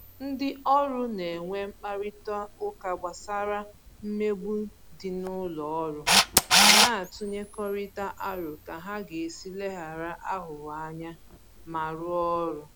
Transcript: Ndị ọrụ na-enwe mkparịta ụka gbasara mmegbu dị n'ụlọ ọrụ ma na-atụnyekọrịta aro ka ha ga-esi leghara aghụghọ anya ma rụọ ọrụ